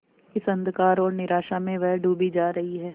इस अंधकार और निराशा में वह डूबी जा रही है